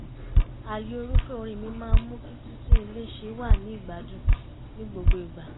ààyò irúfẹ́ orin mi máa ń mú kí títún ilé ṣe wà ní ìgbádùn ní gbogbo ìgbà